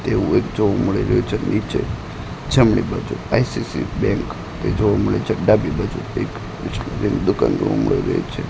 તેવુ એક જોવા મળી રહ્યુ છે નીચે જમણી બાજુ આઇ_સી_સી બેંક એ જોવા મડે છે ડાબી બાજુ એક ની દુકાન જોવા મળી રહી છે.